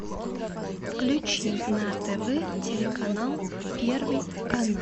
включи на тв телеканал первый канал